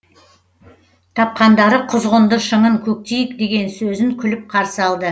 тапқандары құзғынды шыңын көктейік деген сөзін күліп қарсы алды